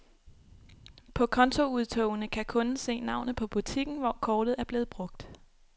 På kontoudtogene kan kunden se navnet på butikken, hvor kortet er blevet brugt.